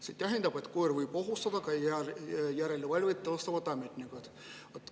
See tähendab, et koer võib ohustada ka järelevalvet teostavat ametnikku.